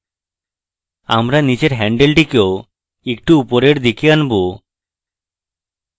আমরা নীচের হ্যান্ডেলটিকেও একটু উপরের দিকে আনবো